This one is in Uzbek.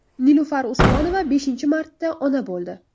Nilufar Usmonova beshinchi marta ona bo‘ldi.